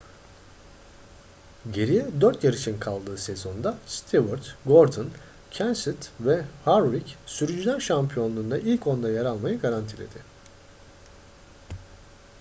geriye dört yarışın kaldığı sezonda stewart gordon kenseth ve harvick sürücüler şampiyonluğunda ilk onda yer almayı garantiledi